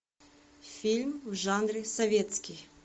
фильм в жанре советский